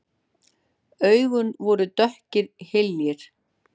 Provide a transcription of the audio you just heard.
Augun voru dökkir hyljir.